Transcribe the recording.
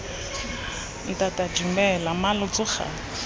ntata dumela mma lo tsoga